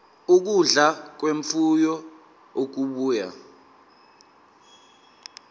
ukudla kwemfuyo okubuya